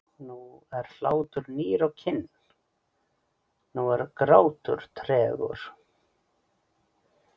Nú er hlátur nýr á kinn, nú er grátur tregur.